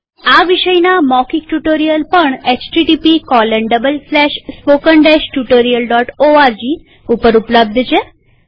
આ વિષયના મૌખિક ટ્યુ્ટોરીઅલ પણ httpspoken tutorialorg પર ઉપલબ્ધ છે